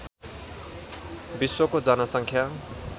विश्वको जनसङ्ख्या